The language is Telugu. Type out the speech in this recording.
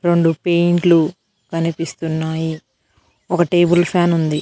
రొండు పెయింట్లు కనిపిస్తున్నాయి. ఒక టేబుల్ ఫ్యాన్ ఉంది.